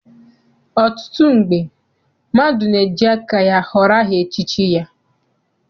Ọtụtụ mgbe, mmadụ na-eji aka ya họrọ aha echichi ya.